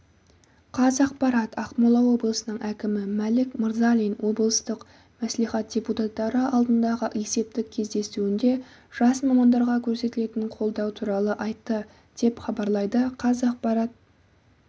қазақпарат ақмола облысының әкімі мәлік мырзалин облыстық мәслихат депутаттары алдындағы есептік кездесуінде жас мамандарға көрсетілетін қолдау туралы айтты деп хабарлайды қазақпарат